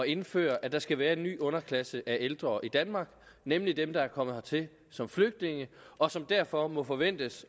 indføre at der skal være en ny underklasse af ældre i danmark nemlig dem der er kommet hertil som flygtninge og som derfor må forventes